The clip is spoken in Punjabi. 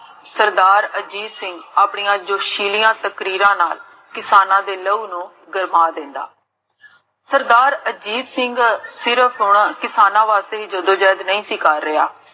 ਸਰਦਾਰ ਅਜੀਤ ਸਿੰਘ, ਆਪਣੀਆਂ ਜੋਸ਼ੀਲੀਆਂ ਤਕਰੀਰਾਂ ਨਾਲ ਕਿਸਾਨਾਂ ਦੇ